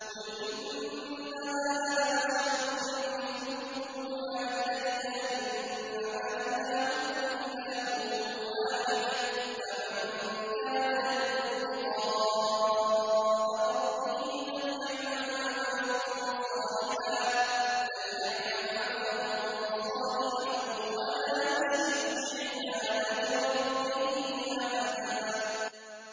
قُلْ إِنَّمَا أَنَا بَشَرٌ مِّثْلُكُمْ يُوحَىٰ إِلَيَّ أَنَّمَا إِلَٰهُكُمْ إِلَٰهٌ وَاحِدٌ ۖ فَمَن كَانَ يَرْجُو لِقَاءَ رَبِّهِ فَلْيَعْمَلْ عَمَلًا صَالِحًا وَلَا يُشْرِكْ بِعِبَادَةِ رَبِّهِ أَحَدًا